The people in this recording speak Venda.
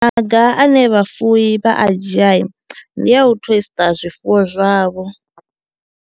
Maga ane vhafuwi vha a dzhiai ndi a u tesṱa zwifuwo zwavho.